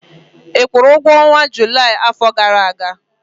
ị kwụrụ ụgwọ ọnwa Julaị afọ gara aga?